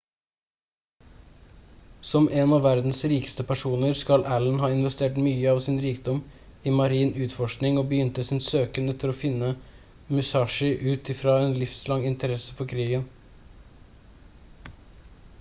som en av verdens rikeste personer skal allen ha investert mye av sin rikdom i marin utforskning og begynte sin søken etter å finne musashi ut i fra en livslang interesse for krigen